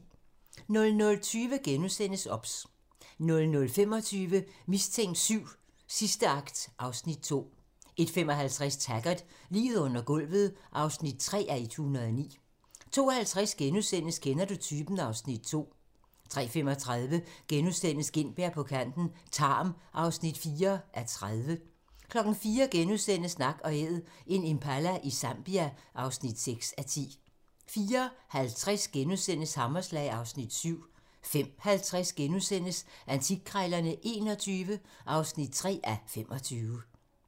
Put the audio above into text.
00:20: OBS * 00:25: Mistænkt VII: Sidste akt (Afs. 2) 01:55: Taggart: Liget under gulvet (3:109) 02:50: Kender du typen? (Afs. 2)* 03:35: Gintberg på kanten - Tarm (4:30)* 04:00: Nak & Æd - en impala i Zambia (6:10)* 04:50: Hammerslag (Afs. 7)* 05:50: Antikkrejlerne XXI (3:25)*